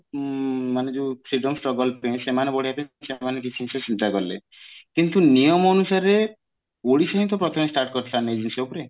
ଉଁ ମାନେ ଯୋଉ freedom struggle ସେମାନେ ବଢେଇବା ପାଇଁ ସେମାନେ ଚେଷ୍ଟା କଲେ କିନ୍ତୁ ନିୟମ ଅନୁସାରେ ଓଡିଶା ହିଁ ତ ପ୍ରଥମେ start କରିଥିଲା ନା ଏଇ ଜିନିଷ ଉପରେ